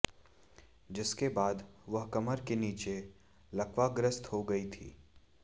जिसके बाद वह कमर के नीचे लकवाग्रस्त हो गईं थी